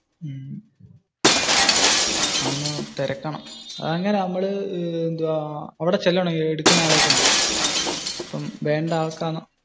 അതൊന്നു തിരക്കണം. അതെങ്ങനാ? നമ്മൾ അവിടെ ചെല്ലണോ എടുക്കുന്ന ആളേം കൊണ്ട്? വേണ്ടത് അർകാണോ.